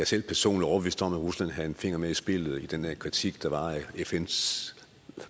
selv personligt overbevist om at rusland havde en finger med i spillet i den her kritik der var af fns